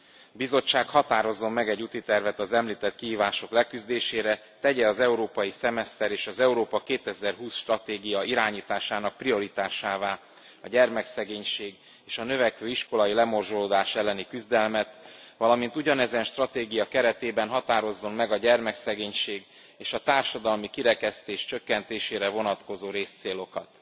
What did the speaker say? A Bizottság határozzon meg egy útitervet az említett kihívások leküzdésére, tegye az európai szemeszter és az Európa 2020 stratégia irányításának prioritásává a gyermekszegénység és a növekvő iskolai lemorzsolódás elleni küzdelmet, valamint ugyanezen stratégia keretében határozzon meg a gyermekszegénység és a társadalmi kirekesztés csökkentésére vonatkozó részcélokat.